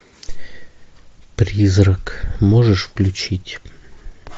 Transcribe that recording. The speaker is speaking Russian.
призрак можешь включить